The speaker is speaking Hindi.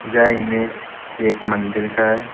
यह इमेज एक मंदिर का है।